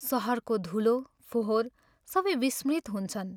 शहरको धूलो, फोहोर सबै विस्मृत हुन्छन्।